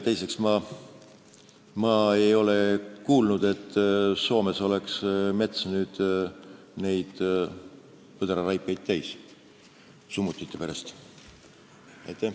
Teiseks, ma ei ole kuulnud, et Soomes oleks mets põdraraipeid summutite pärast täis.